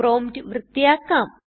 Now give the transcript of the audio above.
prompt വൃത്തിയാക്കാം